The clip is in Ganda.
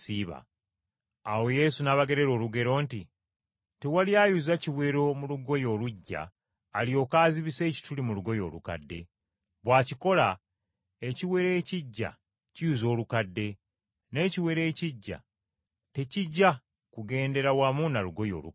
Awo Yesu n’abagerera olugero nti, “Tewali ayuza kiwero mu lugoye oluggya alyoke azibise ekituli mu lugoye olukadde. Bw’akikola, ekiwero ekiggya kiyuza olukadde, n’ekiwero ekiggya tekijja kugendera wamu na lugoye olukadde.